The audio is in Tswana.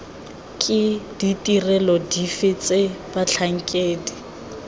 ke ditirelo dife tse batlhankedi